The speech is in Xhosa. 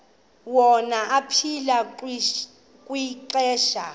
wona aphila kwixesha